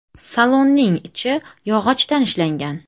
Salonning ichi yog‘ochdan ishlangan.